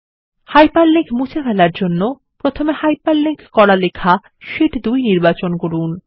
hyperlink মুছে ফেলার জন্য প্রথমে হাইপারলিঙ্ক করা লেখা শীট2 নির্বাচন করুন